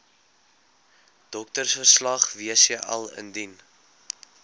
doktersverslag wcl indien